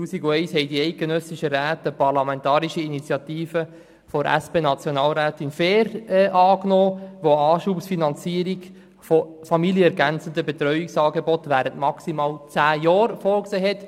2001 nahmen die eidgenössischen Räte eine parlamentarische Initiative von SP-Nationalrätin Fehr an, in der eine Anschubfinanzierung für familienergänzende Betreuungsangebote während maximal zehn Jahren vorgesehen war.